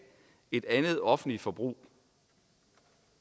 et andet offentligt forbrug